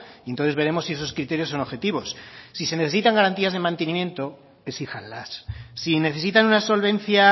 y entonces veremos si esos criterios son objetivos si se necesitan garantías de mantenimiento exíjanlas si necesitan una solvencia